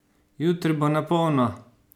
Jutri bo na polno!